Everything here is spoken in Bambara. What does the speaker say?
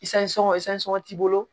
t'i bolo